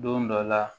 Don dɔ la